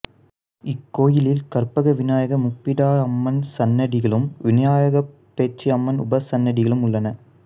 இக்கோயிலில் கற்பகவிநாயகர் முப்பிடாதியம்மன் சன்னதிகளும் விநாயகர் பேச்சியம்மன் உபசன்னதிகளும் உள்ளன